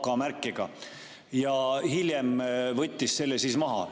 See oli AK-märkega ja hiljem võeti see maha.